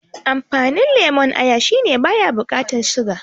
Amfanin lemon aya shine baya bukatan siga